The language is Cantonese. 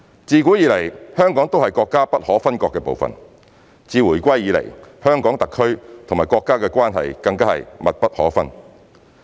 自古以來，香港都是國家不可分割的部分，自回歸以來，香港特區與國家的關係更是密不可分。